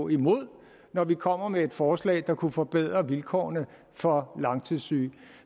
imod når vi kommer med et forslag der kunne forbedre vilkårene for langtidssyge